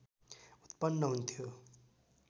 उत्पन्न हुन्थ्यो